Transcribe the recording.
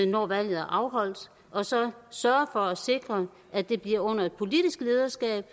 når valget er afholdt og så sørge for at sikre at det bliver under et politisk lederskab